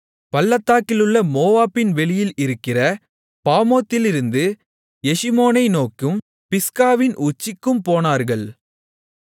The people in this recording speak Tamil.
பள்ளத்தாக்கிலுள்ள மோவாபின் வெளியில் இருக்கிற பாமோத்திலிருந்து எஷிமோனை நோக்கும் பிஸ்காவின் உச்சிக்கும் போனார்கள்